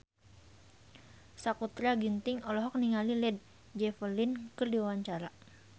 Sakutra Ginting olohok ningali Led Zeppelin keur diwawancara